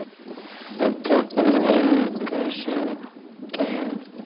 Við tókum engu sem gefnu.